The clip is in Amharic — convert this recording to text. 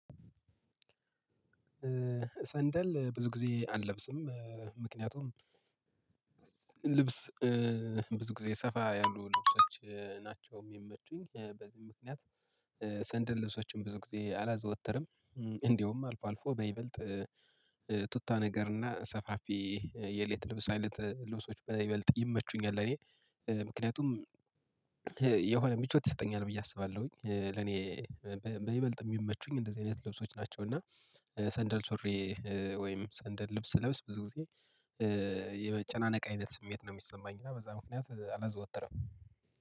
ሰንደል ብዙ ጊዜ አልለብስም። ምክንያቱም ልብስ ብዙ ጊዜ ሰፋ ያሉ ልብሶች ናቸው የሚመቹኝ በዚህ ምክንያት። ሰንደል ልብሶችን ብዙ ጊዜ አላዘወትርም። እንደውም አልፎ አልፎ በይበልጥ ቱታ ነገርና ሰፋፊ የቤት ልብስ አይነት ልብሶች በይበልጥ ይመቹኛል። ለእኔ ምክንያቱም የሆነ ምቾት ይሰጠኛል ብዬ አስባለውኝ። ለእኔ በይበልጥ ሚመቹኝ እንደዚህ አይነት ልብሶች ናቸው። እና ሰንደል ሱሪ ወይም ሰንደል ልብስ ስለብስ ብዙ ጊዜ የመጨናነቅ አይነት ስሜት ነው የሚሰማኝ። እና በዛ ምክንያት አላዘወትርም።